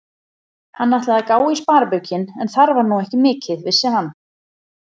Hann ætlaði að gá í sparibaukinn, en þar var nú ekki mikið, vissi hann.